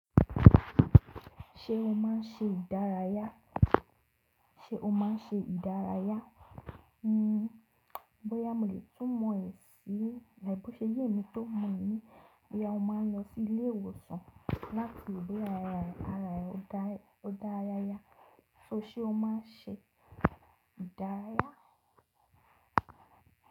Ṣé o máa n ṣe ìdárayá? Bóyá mo lè tún mọ èsì si, like koṢé yé emi tó mọ̀ ní bóyá o máa n lọ sí ilé ìwòsàn láti ìgbéyàwó ara rẹ e, ó dára yá. So sé o má n ṣe ìdárayá.